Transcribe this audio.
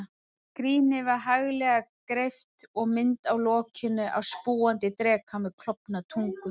Skrínið var haglega greypt, og mynd á lokinu af spúandi dreka með klofna tungu.